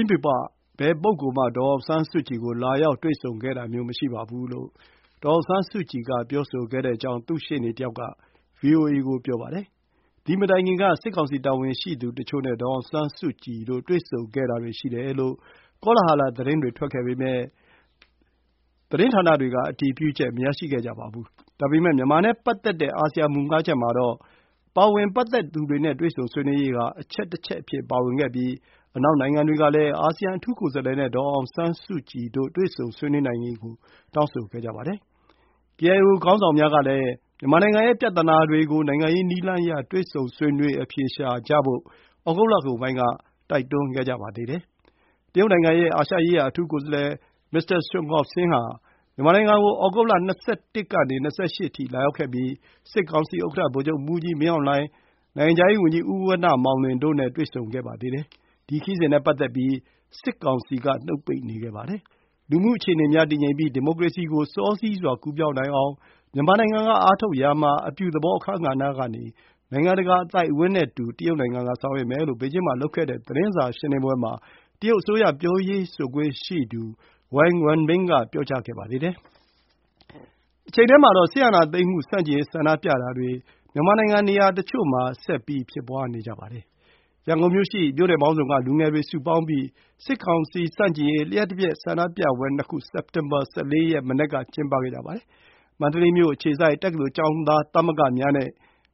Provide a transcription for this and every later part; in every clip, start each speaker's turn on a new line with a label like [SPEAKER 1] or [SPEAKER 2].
[SPEAKER 1] င်းပြည်ပ ဘယ်ပုဂ္ဂိုလ် မှ ဒေါ်အောင်ဆန်းစုကြည် ကို လာရောက်တွေ့ဆုံခဲ့တာမျိုးမရှိပါဘူး လို့ ဒေါ်အောင်ဆန်းစုကြည်က ပြောဆိုခဲ့တယ်လို့ သူ့ရှေ့နေတစ်ယောက် က ဗွီအိုအေ ကို ပြောပါတယ်။ သည် မတိုင်ခင် က စစ်ကောင်စီ တာဝန်ရှိသူတချို့ နဲ့ ဒေါ်အောင်ဆန်းစုကြည်တို့ တွေ့ဆုံခဲ့တာတွေ ရှိတယ်လို့ ကောလဟာလ သတင်းတွေ ထွက်ခဲ့ပေမဲ့၊ သတင်းဌာနတွေ က အတည်ပြုချက် မရရှိခဲ့ကြပါဘူး။ ဒါပေမဲ့ မြန်မာနဲ့ပတ်သက်တဲ့ အာဆီယံ မူ ၅ ချက် မှာ ပတ်သက်သူတွေ နဲ့ တွေ့ဆုံဆွေးနွေးရေး ဟာ အချက်တစ်ချက် အဖြစ် ပါဝင်ခဲ့ပြီး၊ အနောက် နိုင်ငံတွေ ကလည်း အာဆီယံ အထူးကိုယ်စားလှယ် နဲ့ ဒေါ်အောင်ဆန်းစုကြည် တို့ တွေ့ဆုံဆွေးနွေးနိုင်ရေး ကို တောင်းဆိုခဲ့ကြပါတယ်။ ကေအိုင်အို ခေါင်းဆောင်များ ကလည်း မြန်မာနိုင်ငံ ရဲ့ ပြဿနာတွေ ကို နိုင်ငံရေး နည်းလမ်းအရ တွေ့ဆုံဆွေးနွေး အဖြေရှာဖို့ ဩဂုတ်လကုန်ပိုင်း က တိုက်တွန်း ခဲ့ကြပါသေးတယ်။ တရုတ် နိုင်ငံ ရဲ့ အာရှရေးရာ အထူးကိုယ်စားလှယ် Mr. Sun Guoxiang ဟာ မြန်မာနိုင်ငံ ကို ဩဂုတ် ၂၁ ကနေ ၂၈ အထိ လာရောက်ခဲ့ပြီး၊ စစ်ကောင်စီ ဥက္ကဌ ဗိုလ်ချုပ်မှူးကြီး မင်းအောင်လှိုင်၊ နိုငံခြားရေး ဝန်ကြီး ဉီး ဝဏ္ဏ မောင်လွင် တို့ နဲ့ တွေ့ဆုံဆွေးနွေးခဲ့ပါသေးတယ်။ ဒီ ခရီးစဉ် နဲ့ ပတ်သက်ပြီး၊ စစ်ကောင်စီ က နှုတ်ပိတ်နေခဲ့ပါတယ်။ လူမှုအခြေအနေများ တည်ငြိမ်ပြီး၊ ဒီမိုကရေစီ ကို စောစီးစွာ ကူးပြောင်းနိုင်အောင် မြန်မာနိုင်ငံ က အားထုတ်ရာ မှာ အပြုသဘော အခန်းကဏ္ဌကနေ နိုင်ငံတကာ အသိုက်အဝန်း နဲ့ အတူတကွ ဆောင်ရွက်မယ် လို့ ဘေဂျင်း မှာ လုပ်ခဲ့တဲ့ သတင်းစာ ရှင်းလင်းပွဲ မှာ တရုတ်အစိုးရ ပြောရေးဆိုခွင့် ရှိသူ ဝန်ဝမ်ဘင် Wang Wenbin က ပြောကြားခဲ့ပါသေးတယ်။ တချိန်တည်းမှာတော့ စစ်အာဏာသိမ်းမှုဆန့်ကျင်ရေးဆန္ဒပြမှုတွေ မြန်မာနိုင်ငံနေရာတချို့ဆက်ရှိနေပါတယ်။ ရန်ကုန်မြို့ ရှိ မြို့နယ်ပေါင်းစု က လူငယ်တွေ စုပေါင်းပြီး စစ်ကောင်စီ ဆန့်ကျင်ရေး လျှပ်တပြတ်ဆန္ဒပြပွဲနခု စက်တင်ဘာ ၁၄ ရက် မနက် က ကျင်းပခဲ့ကြပါတယ်။ မန္တလေးမြို့အခြေစိုက် တက္ကသိုလ်ကျောင်းသားသမဂ္ဂများ နဲ့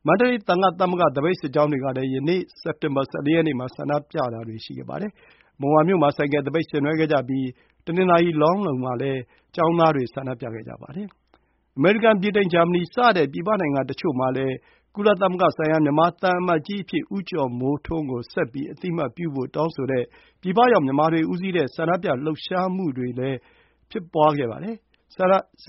[SPEAKER 1] မန္တလေး သံဃ သမဂ္ဂ သပိတ်စစ်ကြောင်းတွေ ကလည်း ယနေ့ စက်တင်ဘာ ၁၄ ရက်နေ့ မှာ ဆန္ဒပြတာတွေရှိခဲ့ပါတယ်။ မုံရွာမြို့ မှာ ဆိုင်ကယ်သပိတ် ဆင်နွှဲခဲ့ကြပြီး၊ တနင်္သာရီ၊ လောင်းလုံး မှာလည်း ကျောင်းသားတွေ ဆန္ဒပြခဲ့ကြပါတယ်။ အမေရိကန်၊ ဗြိတိန်၊ ဂျာမနီ စတဲ့ ပြည်ပနိုင်ငံတချို့မှာလည်း ကုလသမဂ္ဂဆိုင်ရာ မြန်မာသံအမတ်ကြီးအဖြစ် ဦးကျော်မိုးထွန်းကို ဆက်ပြီး အသိအမှတ်ပြုဖို့် တောင်းဆိုတဲ့ ပြည်ရောက်မြန်မာတွေဦးစီးတဲ့ ဆန္ဒပြ လှုပ်ရှားမှုတွေလည်းရှိနေပါတယ်။ စ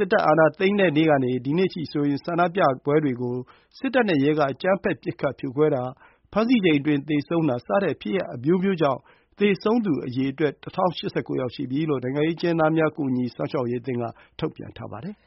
[SPEAKER 1] စ်တပ်အာဏာသိမ်းတဲ့နေ့ကနေ ဒီကနေ့အထိဆိုရင် ဆန္ဒပြပွဲတွေကို စစ်တပ်နဲ့ရဲက အကြမ်းဖက် ပစ်ခတ် ဖြိုခွဲတာ၊ ဖမ်းဆီးချိန်အတွင်း သေဆုံးတာ စတဲ့ဖြစ်ရပ်အမျိုးမျိုးကြောင့် သေဆုံးသူအရေအတွက် ၁၀၈၉ ရှိပြီလို့ နိုင်ငံရေးအကျဉ်းသားများ ကူညီစောင့်ရှောက်ရေးအသင်းက ထုတ်ပြန်ထားပါတယ်